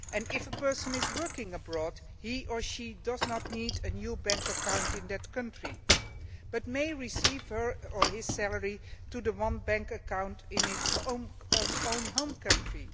If a person is working abroad he or she will not need a new bank account in that country and may receive his or her salary to the one bank account in his or her own home country.